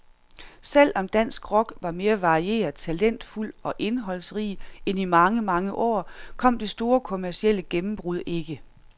Selv om dansk rock var mere varieret, talentfuld og indholdsrig end i mange, mange år, kom det store kommercielle gennembrud ikke.